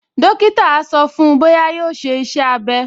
Dókítà á sọ fún-un bóyá yóò ṣe iṣẹ́-abẹ́